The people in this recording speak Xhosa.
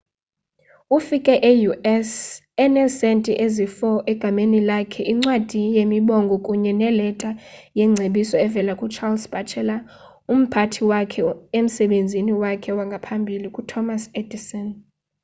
ufike e-us eneesentie ezi-4 egameni lakhe incwadi yemibongo kunye neleta yengcebiso evela ku-charles batchelor umphathi wakhe emsebenzini wakhe wangaphambili ku-thomas edison